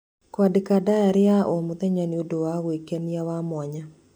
Kũandĩka ndayarĩ ya o mũthenya nĩ ũndũ wa gwĩkenia wa mwanya.